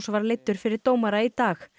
var leiddur fyrir dómara í dag